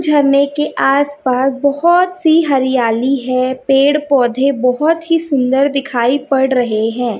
झरने की आस पास बहोत सी हरियाली है पेड़ पौधे बहोत ही सुंदर दिखाई पड़ रहे हैं।